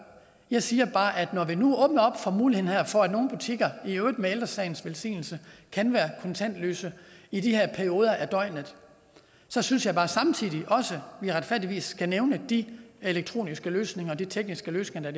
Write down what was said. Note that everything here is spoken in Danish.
jeg siger bare at når vi nu åbner op for muligheden for at nogle butikker i øvrigt med ældre sagens velsignelse kan være kontantløse i de her perioder af døgnet så synes jeg bare samtidig også vi retfærdigvis skal nævne de elektroniske løsninger de tekniske løsninger